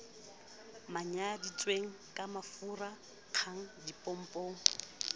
manyaditsweng ka mafuraa nkgang dipompong